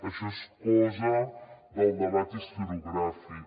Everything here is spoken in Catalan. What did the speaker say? això és cosa del debat historiogràfic